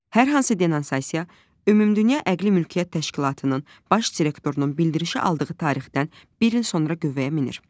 Hər hansı denonsasiya Ümumdünya Əqli Mülkiyyət Təşkilatının Baş Direktorunun bildirişi aldığı tarixdən bir il sonra qüvvəyə minir.